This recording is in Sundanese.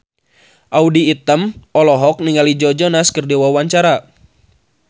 Audy Item olohok ningali Joe Jonas keur diwawancara